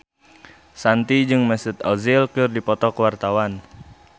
Shanti jeung Mesut Ozil keur dipoto ku wartawan